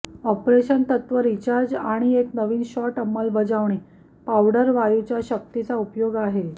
operation तत्त्व recharge आणि एक नवीन शॉट अंमलबजावणी पावडर वायू च्या शक्तीचा उपयोग आहे